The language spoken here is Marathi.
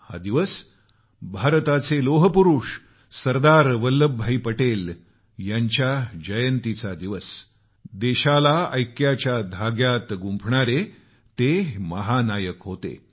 हा दिवस भारताचे लोहपुरुष सरदार वल्लभभाई पटेल यांच्या जयंतीचा आहे जे देशाला ऐक्याच्या धाग्यात गुंफणारे महानायक होते